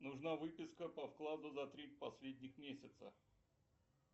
нужна выписка по вкладу за три последних месяца